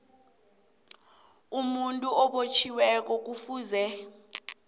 umuntu obotjhiweko kufuze